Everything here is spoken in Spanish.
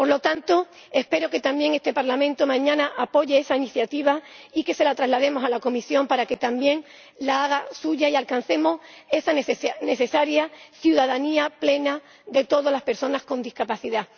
Por lo tanto, espero que también este Parlamento apoye mañana esa iniciativa, que se la traslademos a la Comisión para que también la haga suya, y que alcancemos esa necesaria ciudadanía plena de todas las personas con discapacidad.